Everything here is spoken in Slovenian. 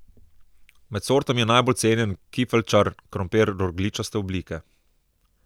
Med sortami je najbolj cenjen kifeljčar, krompir rogljičaste oblike.